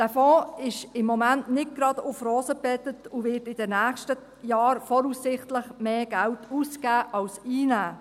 Dieser Fonds ist im Moment nicht gerade auf Rosen gebettet und wird in den nächsten Jahren voraussichtlich mehr Geld ausgeben als einnehmen.